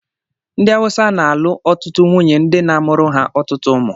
Ndị Awụsa na-alụ ọtụtụ nwunye ndi na-amụrụ ha ọtụtụ ụmụ.